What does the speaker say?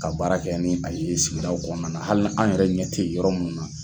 Ka baara kɛ ni a ye sigida kɔnɔna na, hali n'an yɛrɛ ɲɛ ten yɔrɔ munnu na.